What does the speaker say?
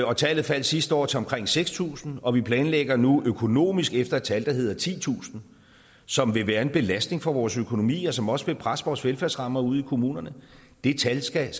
og tallet faldt sidste år til omkring seks tusind og vi planlægger nu økonomisk efter et tal der hedder titusind som vil være en belastning for vores økonomi og som også vil presse vores velfærdsrammer ude i kommunerne det tal skal